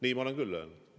Nii ma olen küll öelnud.